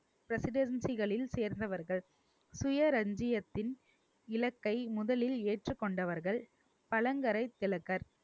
presidency களில் சேர்ந்தவர்கள் சுய ரஞ்சியத்தின் இலக்கை முதலில் ஏற்றுக் கொண்டவர்கள் பழங்கரை திலகர்